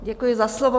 Děkuji za slovo.